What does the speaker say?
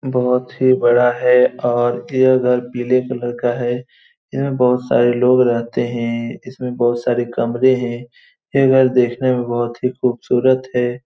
बहुत ही बड़ा है और ये घर पीले कलर का है इसमें बहुत सारे लोग रहते हैं इसमें बहुत सारे कमरे हैं ये घर देखने में बहुत ही खूबसरत है।